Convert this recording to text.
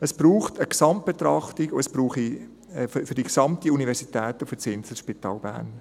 Es braucht eine Gesamtbetrachtung für die gesamte Universität und für das Inselspital Bern.